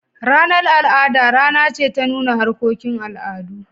Ranar al'ada rana ce ta nuna harkokin al'adu.